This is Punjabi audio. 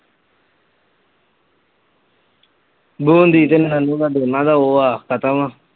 ਦੋਨਾਂ ਦਾ ਉਹ ਆ ਖਤਮ ਆ